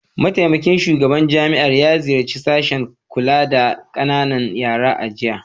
Mataimakin shugaban jami'ar ya ziyarci sashin kula da kananan yara a jiya